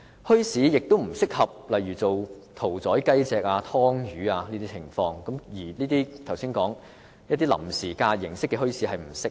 墟市也不適合屠宰雞隻、劏魚等，故我剛才指出臨時假日形式的墟市並不適合。